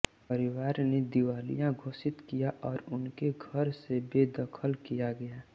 परिवार ने दिवालिया घोषित किया और उनके घर से बेदखल किया गया